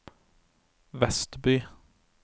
Vestby